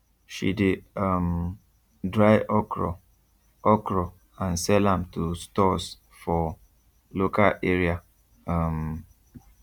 she de um dry okro okro and sell am to stores for local area um